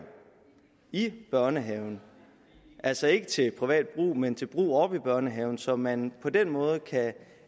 i børnehaven altså ikke til privat brug men til brug i børnehaven så man på den måde kan